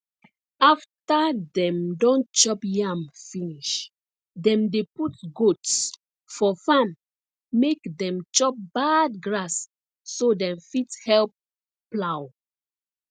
after dem don chop yam finish dem dey put goats for farm make dem chop bad grass so dem fit help plow